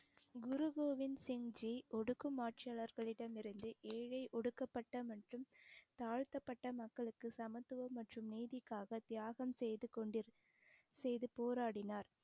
குரு கோவிந்த் சிங் ஜி ஒடுக்கும் ஆட்சியாளர்களிடம் இருந்து ஏழை ஒடுக்கப்பட்ட மற்றும் தாழ்த்தப்பட்ட மக்களுக்கு சமத்துவம் மற்றும் நீதிக்காக தியாகம் செய்து கொண்டு செய்து போராடினார்